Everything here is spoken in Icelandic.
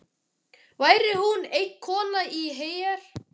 Væri hún eina konan í her